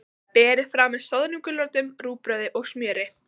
Berið fram með soðnum gulrótum, rúgbrauði og smjöri.